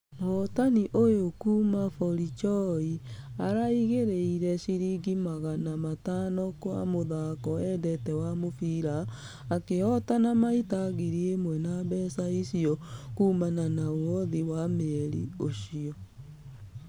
Mũhotani ũyũ kuuma barichoi araigĩreire shiringi mgana matanokwamũthako endete wa mũbira. Akĩhotana maita ngiri ĩmwe wa mbeca icio kuumana na ũothi wa mweri ũcio.